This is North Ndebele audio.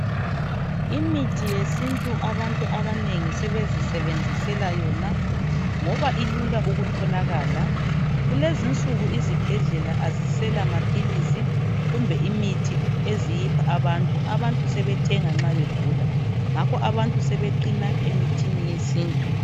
Imithi yesintu abantu abanengi sebezisebenzisela yona ngoba ilula ukutholakala kulezi insuku izibhedlela azisela maphilisi kumbe imithi eziyipha abantu, abantu sebethenga nxa begula ngakho abantu sebeqina emithini yesintu.